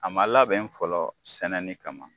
A ma labɛn fɔlɔ sɛnɛni kama